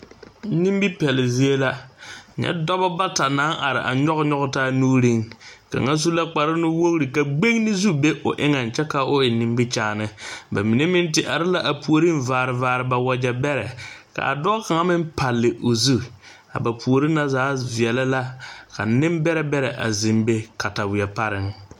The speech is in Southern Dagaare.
Nimipeɛle zie la, nyɛ dɔba bata naŋ are a nyoge nyoge taa nuureŋ, kaŋa su la kpare. nuwogir ka gbenni zu be o eŋe kyɛ ka o eŋe nimikyaane ba mine meŋ te are la a puoriŋ a vaare vaare ba wagyɛ beɛre ka a dɔɔ kaŋa meŋ pale o zu a ba puori na zaa veɛlɛ la ka nen beɛre beɛre a zeŋ be katawie pareŋ